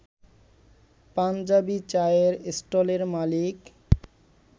পাঞ্জাবি চায়ের স্টলের মালিক